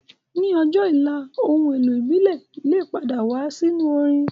Ní ọjọ́ ọ̀la, ohun èlò ìbílẹ̀ lè padà wá sínú orin